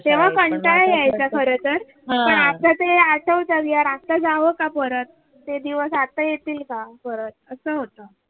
तेव्हा कंटाळा यायचा खर तर पण आता ते अस होत कि यार आता जाव का परत ते दिवस आता येतील का परत अस होत